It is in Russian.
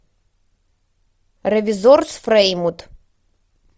ревизор с фреймут